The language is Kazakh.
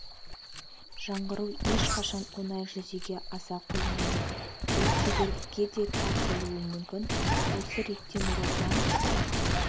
жаңғыру ешқашан оңай жүзеге аса қоймайды ол кедергіге де тап болуы мүмкін осы ретте нұр отан